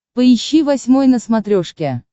поищи восьмой на смотрешке